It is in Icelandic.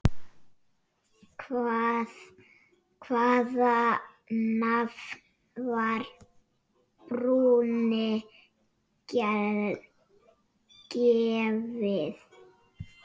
Hvaða nafn var brúnni gefið?